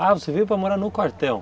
Ah, você veio para morar no quartel.